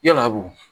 Yala wo